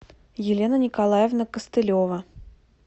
елена николаевна костылева